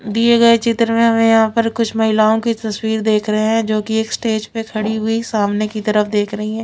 दिए गए चित्र में हमें यहां पर कुछ महिलाओं की तस्वीर देख रहे है जो कि एक स्टेज पर खड़ी हुई सामने की तरफ देख रही है।